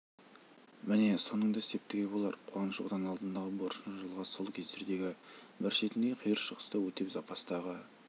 міне соның да септігі болар қуаныш отан алдындағы борышын жылға сол кездердегі бір шетіндегі қиыр шығыста өтеп запастағы